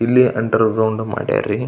ಇಲ್ಲಿ underground ಮಾಡ್ ರೀ.